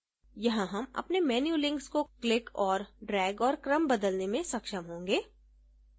यहाँ हम अपने menu links को click और drag और क्रम बदलने में सक्षम होंगे